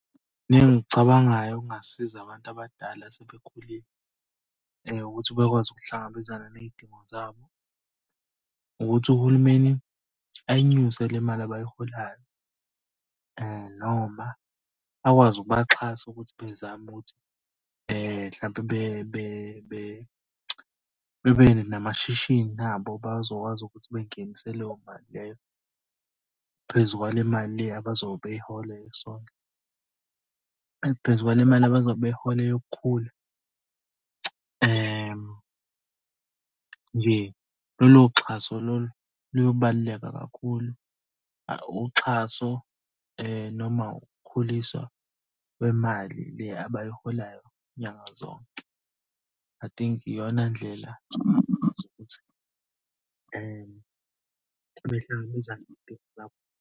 Mina engikucabangayo okungasiza abantu abadala asebekhulile ukuthi bekwazi ukuhlangabezana ney'dingo zabo. Nokuthi uhulumeni uyinyuse le mali abayiholayo noma akwazi ukubaxhasa ukuthi bezame ukuthi mhlampe bebe namashishini abo, bazokwazi ukuthi bengenise leyo mali leyo. Phezu kwale mali le abazobe beyihola . Phezu kwale mali abazobe beyihola yokukhula, nje lolo xhaso lolo loyobaluleka kakhulu. Uxhaso noma ukukhuliswa kwemali le abayiholayo nyanga zonke. I think iyona ndlela yokuthi behlangabezane .